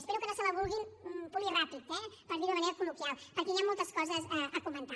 espero que no se la vulguin polir ràpid eh per dirho d’una manera col·loquial perquè hi han moltes coses a comentar